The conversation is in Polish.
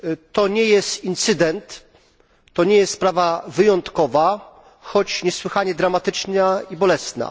To nie jest incydent, to nie jest sprawa wyjątkowa, choć niesłychanie dramatyczna i bolesna.